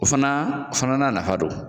O fana o fana n'a nafa don